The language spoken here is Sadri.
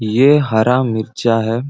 ये हरा मिर्चा है।